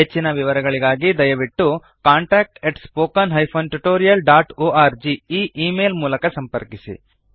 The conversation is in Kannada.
ಹೆಚ್ಚಿನ ವಿವರಗಳಿಗೆ ದಯವಿಟ್ಟು contactspoken tutorialorg ಈ ಈ ಮೇಲ್ ಮೂಲಕ ಸಂಪರ್ಕಿಸಿ